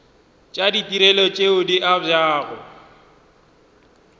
tša ditirelo tše di abjago